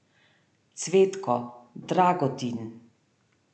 Cvetko, Dragotin.